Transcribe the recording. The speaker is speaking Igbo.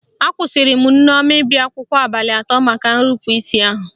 Akwụsịrị Nneoma ịbịa akwụkwọ abalị atọ maka nrupu isi ahụ